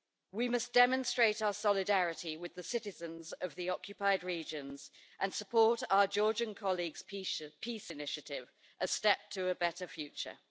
We must demonstrate our solidarity with the citizens of the occupied regions and support our Georgian colleagues' peace initiative, A Step to a Better Future'.